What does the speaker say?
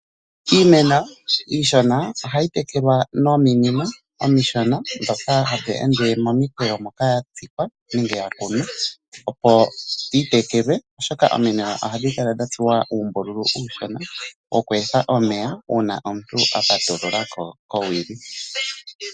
Iimeno iishona ohayi tekelwa nominino omishona ndhoka hadhi ende momikweyo moka ya tsikwa nenge ya kunwa, opo yi tekelwe, oshoka ominino ohadhi kala dha tsuwa uumbululu uushona wokweetha omeya uuna omuntu a patulula ko kowili.